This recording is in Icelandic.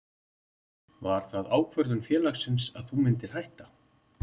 Var það ákvörðun félagsins að þú myndir hætta?